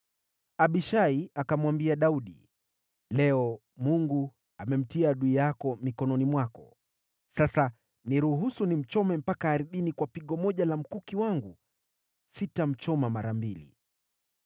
Abishai akamwambia Daudi, “Leo Mungu amemtia adui yako mikononi mwako. Sasa niruhusu nimchome mpaka ardhini kwa pigo moja la mkuki wangu; sitamchoma mara mbili.”